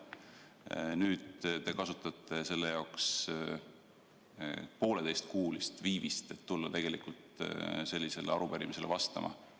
Aga nüüd te kasutate ise pooleteistkuulist viivitust, et tulla sellisele arupärimisele vastama.